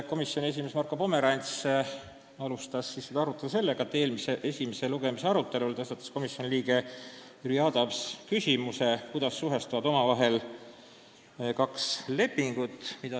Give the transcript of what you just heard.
Komisjoni esimees Marko Pomerants algatas istungil arutelu seoses sellega, et esimese lugemise ajal tõstatas komisjoni liige Jüri Adams küsimuse, kuidas suhestuvad omavahel kaks lepingut.